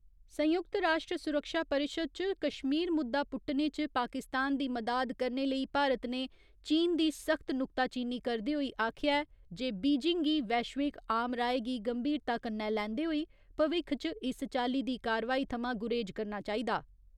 संयुक्त राश्ट्र सुरक्षा परिशद च कश्मीर मुद्दा पुट्टने च पाकिस्तान दी मदाद करने लेई भारत ने चीन दी सख्त नुक्ताचीनी करदे होई आखेआ ऐ जे बीजिंग गी वैश्विक आमराय गी गंभीरता कन्नै लैंदे होई भविक्ख च इस चाल्ली दी कार्यवाही थमां गुरेज करना चाहि्दा।